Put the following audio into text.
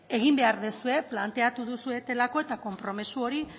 egin behar duzue planteatu duzuelako eta konpromiso hori